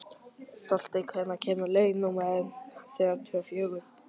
Holti, hvenær kemur leið númer þrjátíu og fjögur?